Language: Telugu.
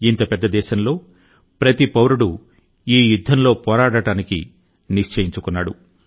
ఇంత పెద్ద దేశంలో ప్రతి పౌరుడూ ఈ యుద్ధంలో పోరాడటానికి నిశ్చయించుకున్నాడు